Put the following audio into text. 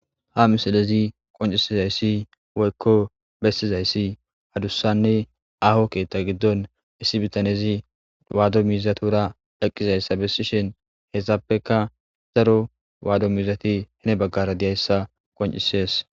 ha misilezi qoncisizayssi woykko bestizayssi hadussanne aho keetta giddon issi bitanezi waado miizatuura eqqizayssa bessishen hessappeka zaro waado miizati hine baggara diyayssa qoncisees